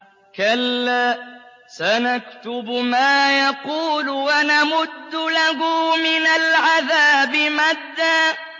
كَلَّا ۚ سَنَكْتُبُ مَا يَقُولُ وَنَمُدُّ لَهُ مِنَ الْعَذَابِ مَدًّا